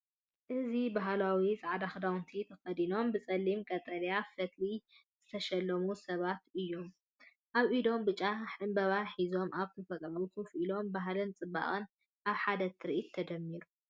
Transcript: እዚ ባህላዊ ጻዕዳ ክዳውንቲ ተኸዲኖም፡ ብጸሊምን ቀጠልያን ፈትሊ ዝተሸለሙ ሰባት እዮም። ኣብ ኢዶም ብጫ ዕምባባ ሒዞም ኣብ ተፈጥሮ ኮፍ ኢሎም፡ ባህልን ጽባቐን ኣብ ሓደ ትርኢት ተደሚሩ።